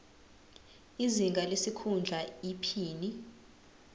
izinga lesikhundla iphini